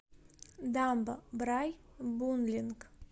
дамба брайбунлинг